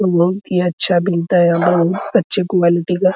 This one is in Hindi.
और ये अच्छा बेचता है अच्छे क्वालिटी का।